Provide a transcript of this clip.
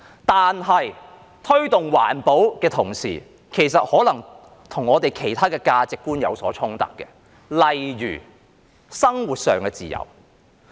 但是，在推動環保的同時，卻可能與我們其他的價值觀有所衝突，例如生活上的自由。